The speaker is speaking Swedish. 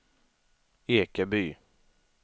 Ekeby